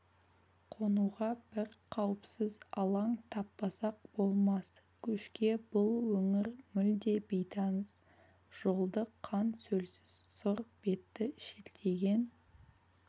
қонуға бір қауіпсіз алаң таппасақ болмас көшке бұл өңір мүлде бейтаныс жолды қан-сөлсіз сұр бетті шілтиген